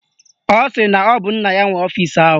Ọ sị na ọ bụ nna ya nwe ọfisi ahụ